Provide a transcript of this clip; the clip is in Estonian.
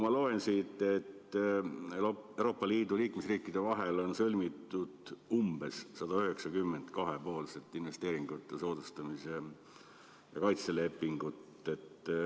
Ma loen siit, et Euroopa Liidu liikmesriikide vahel on sõlmitud umbes 190 kahepoolset investeeringute soodustamise ja kaitse lepingut.